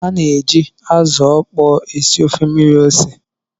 A na-eji azụ ókpó esi ofe mmiri ose